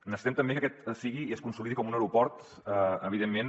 necessitem també que aquest sigui i es consolidi com un aeroport evident·ment